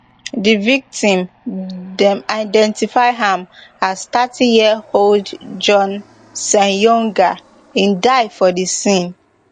di victim dem identify am as thirtyyearold john ssenyonga im die for di scene